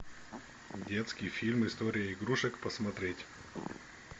детский фильм история игрушек посмотреть